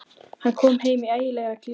Hann er kominn í ægilega klípu.